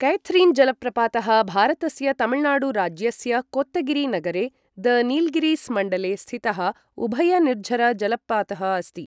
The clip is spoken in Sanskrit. कैथरीन् जलप्रपातः भारतस्य तमिळनाडु राज्यस्य कोत्तगिरि नगरे, द नीलगिरिस् मण्डले स्थितः उभय निर्झर जलपातः अस्ति।